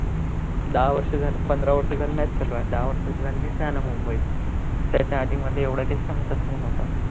दहा वर्ष झाले पंधरा वर्ष झाले match चालू आहे, दहा वर्ष झाले मी इथे आलो मुंबईत, त्याच्या आधी मध्ये एवढं काही समजतं पण नव्हतं.